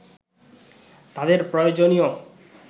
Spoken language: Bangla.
তাদের প্রয়োজনীয়